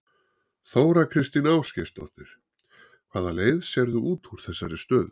Þóra Kristín Ásgeirsdóttir: Hvaða leið sérðu út úr þessari stöðu?